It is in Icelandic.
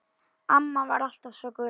Amma var alltaf svo glöð.